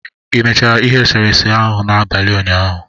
Ị mechara ihe eserese ahụ n'abalị ụnyaahụ?